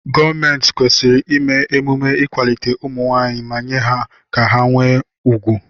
Gọọmenti kwesịrị ime emume ịkwalite ụmụnwaanyị ma mee ka ha nwee ùgwù.